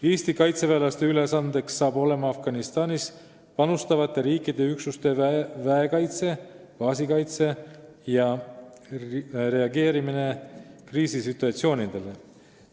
Eesti kaitseväelaste ülesanne on Afganistanis panustavate riikide üksuste väekaitse, baasikaitse ja reageerimine kriisisituatsioonidele.